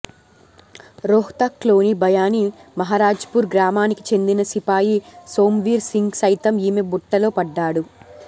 రోహ్తక్లోని భయానీ మహారాజ్పూర్ గ్రామానికి చెందిన సిపాయి సోమ్వీర్ సింగ్ సైతం ఈమె బుట్టలో పడ్డాడు